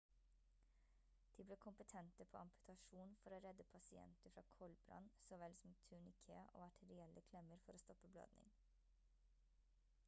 de ble kompetente på amputasjon for å redde pasienter fra koldbrann så vel som turniké og arterielle klemmer for å stoppe blødning